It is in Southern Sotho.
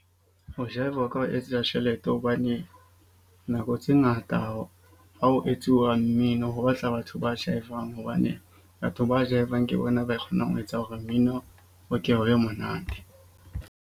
Ho jive-a ho ka o etsetsa tjhelete hobane nako tse ngata ha ho etsuwa mmino. Ho batla batho ba jive-ang, hobane batho ba jive-ang ke bona ba kgonang ho etsa hore mmino o ko o be monate.